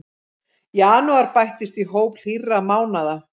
Janúar bættist í hóp hlýrra mánaða